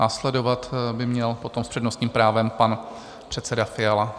Následovat by potom měl s přednostním právem pan předseda Fiala.